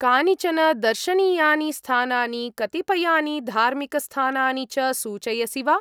कानिचन दर्शनीयानि स्थानानि, कतिपयानि धार्मिकस्थानानि च सूचयसि वा?